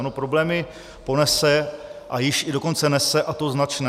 Ano, problémy ponese, a již i dokonce nese, a to značné.